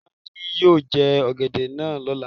Ọ̀bọ náà ni yóò jẹ ọ̀gẹ̀dẹ̀ náà Lọ́la.